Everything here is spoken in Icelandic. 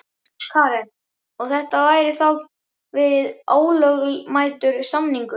Karen: Og, þetta gæti þá verið ólögmætur samningur?